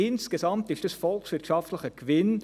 Insgesamt ist dies volkswirtschaftlich ein Gewinn.